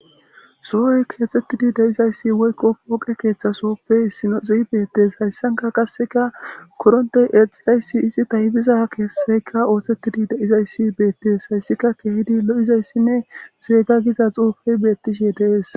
Sohoy keexettidi deizayssi woykko pooqe keeththasoppe issino xi beettes hayssanka qasseka korontey eexizayssi isi taybiza keesseyka ooththettidi deizayssi beettes hayssika keehidi lo'izayssinne seega giza xuufey beettishe deees